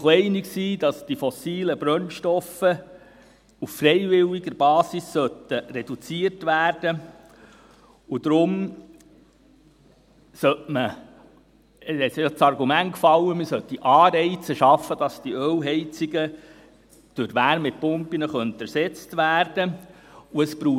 Man war sich auch einig, dass die fossilen Brennstoffe auf freiwilliger Basis reduziert werden sollten, und deshalb fiel das Argument, man solle Anreize schaffen, damit die Ölheizungen durch Wärmepumpen ersetzt werden können.